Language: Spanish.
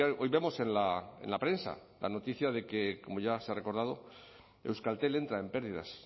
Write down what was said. hoy vemos en la prensa la noticia de que como ya se ha recordado euskaltel entra en pérdidas